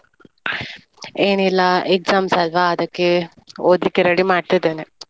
ಏನ್ ಇಲ್ಲ exams ಅಲ್ವಾ, ಅದಕ್ಕೆ ಓದ್ಲಿಕ್ಕೆ ready ಮಾಡ್ತಿದ್ದೇನೆ.